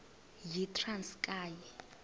yitranskayi